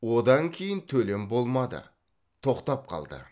одан кейін төлем болмады тоқтап қалды